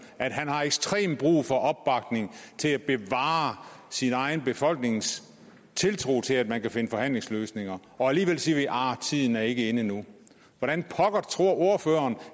at han har ekstremt brug for opbakning til at bevare sin egen befolknings tiltro til at man kan finde forhandlingsløsninger alligevel siger vi tiden er ikke inde endnu hvordan pokker tror ordføreren